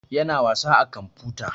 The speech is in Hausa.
Ya na wasa a kamfuta